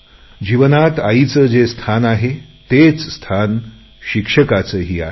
जीवनात आईचे जे स्थान आहे तेच स्थान शिक्षकांचेही आहे